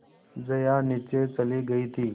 जया नीचे चली गई थी